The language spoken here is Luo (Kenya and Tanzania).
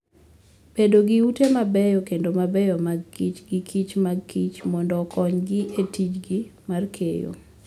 Bedo gi ute mabeyo kendo mabeyo makich gi kich mag kich mondo okonygi e tijgi mar keyo.